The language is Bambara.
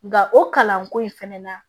Nka o kalanko in fɛnɛ na